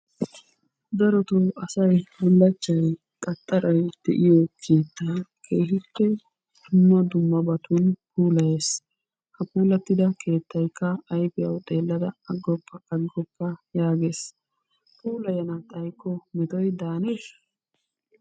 Darottoo asay bullaachchay, qaxxaray, de'iyo keettaa keehippe dumma dummabatun puulayees. Ha puulattida keettaykka ayfiyawu xeellada aggoppa aggoppa yaagees, puulayana xaykko metoy daannesha?